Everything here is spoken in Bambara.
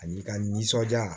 Ani ka nisɔndiya